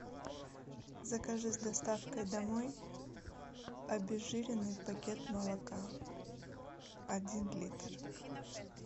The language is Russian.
закажи с доставкой домой обезжиренный пакет молока один литр